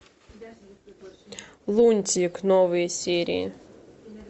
лунтик новые серии